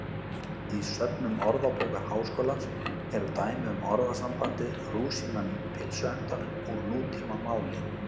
Í söfnum Orðabókar Háskólans eru dæmi um orðasambandið rúsínan í pylsuendanum úr nútímamáli.